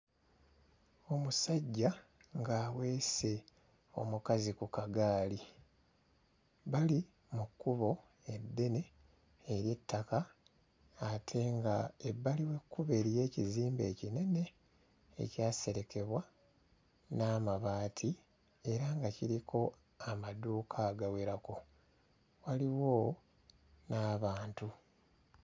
Omusajja ng'aweese omukazi ku kagaali, bali mu kkubo eddene ery'ettaka ate nga ebbali w'ekkubo eriyo ekizimbe ekinene ekyaserekebwa n'amabaati era nga kiriko amadduuka agawerako, waliwo n'abantu.